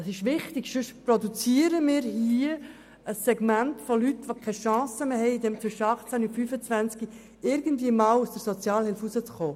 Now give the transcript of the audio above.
Das ist wichtig, sonst produzieren wir hier ein Segment von Leuten, die keine Chance mehr haben, irgendeinmal wieder aus der Sozialhilfe herauszukommen.